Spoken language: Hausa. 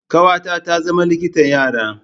Ƙawata ta zama likitan yara.